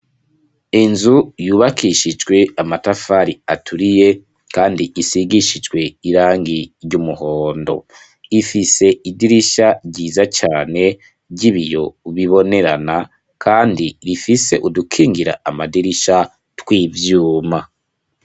Inzu yubakishijwe amatafari aturiye, kandi isigishijwe irangi ry'umuhondo ifise idirisha ryiza cane ry'ibiyo ubibonerana, kandi rifise udukingira amadirisha tw'ivyuma.